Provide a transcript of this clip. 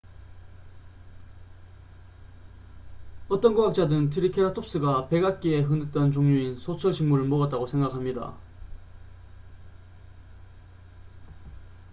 어떤 과학자들은 트리케라톱스가 백악기에 흔했던 종류인 소철 식물을 먹었다고 생각합니다